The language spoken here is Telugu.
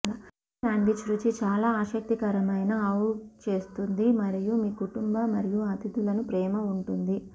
ఈ సాండ్విచ్ రుచి చాలా ఆసక్తికరమైన అవ్ట్ చేస్తుంది మరియు మీ కుటుంబ మరియు అతిథులను ప్రేమ ఉంటుంది